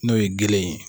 N'o ye gele ye